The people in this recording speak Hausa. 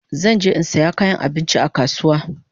Zan je in saya kayan abinchi a kasuwa